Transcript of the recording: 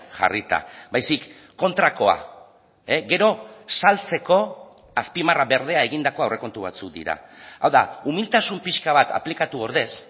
jarrita baizik kontrakoa gero saltzeko azpimarra berdea egindako aurrekontu batzuk dira hau da umiltasun pixka bat aplikatu ordez